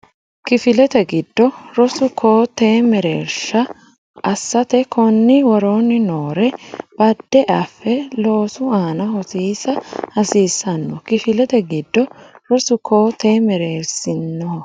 Kifilete giddo rosu koo tee mereersinoha assate konni woroonni noore bade afe loosu aana hosiisa hasiissanno Kifilete giddo rosu koo tee mereersinoha.